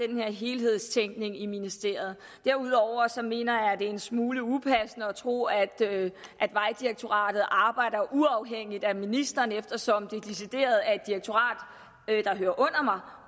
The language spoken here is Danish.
den her helhedstænkning i ministeriet derudover mener jeg at det er en smule upassende at tro at at vejdirektoratet arbejder uafhængigt af ministeren eftersom det decideret er et direktorat der hører